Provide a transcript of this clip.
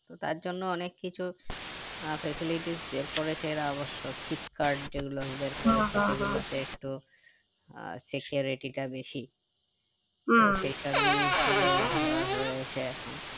তো তার জন্য অনেক কিছু আহ facilitty বেড় করেছে ওরা অবশ্য cheap card যেগুলো বেড় করেছে সে গুলোতে একটু আহ security টা বেশি তো সেই সব জিনিস গুলো র রয়েছে এখন